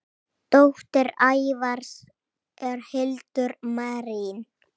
Dóttir Ævars er Hildur Marín.